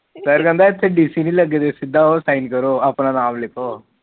ਫਿਰ ਕਹਿੰਦਾ ਇਥੇ ਨੀ ਲੱਗੇ ਤੁਸੀ ਸੀਧਾ ਹੋ ਸਾਈਨ ਕਰੋ ਆਪਣਾ ਨਾਮ ਲ਼ਿਖੋ